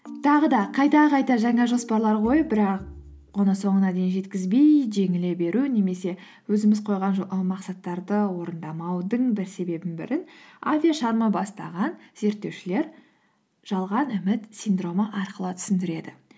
тағы да қайта қайта жаңа жоспарлар қойып бірақ оны соңына дейін жеткізбей жеңіле беру немесе өзіміз қойған мақсаттарды орындамаудың бір себебінің бірі бастаған зерттеушілер жалған үміт синдромы арқылы түсіндіреді